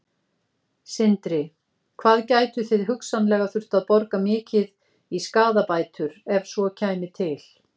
Sindri: Hvað gætuð þið hugsanlega þurft að borga mikið í skaðabætur ef svo kæmi til?